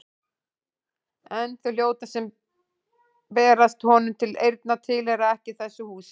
En þau hljóð sem berast honum til eyrna tilheyra ekki þessu húsi.